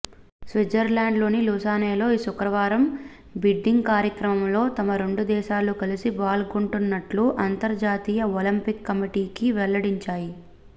స్విట్జర్లాండ్లోని లుసానెలో ఈ శుక్రవారం బిడ్డింగ్ కార్యక్రమంలో తమ రెండు దేశాలు కలిసి పాల్గొంటున్నట్లు అంతర్జాతీయ ఒలింపిక్ కమిటీకి వెల్లడించాయి